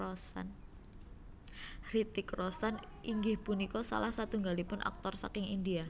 Hrithik Roshan inggih punika salah satunggalipun aktor saking India